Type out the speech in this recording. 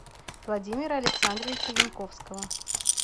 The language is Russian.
владимира александровича янковского